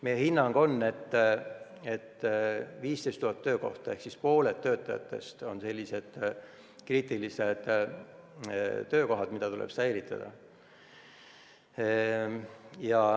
Meie hinnang on, et 15 000 töökohta ehk pooled on sellised kriitilised töökohad, mida tuleb säilitada.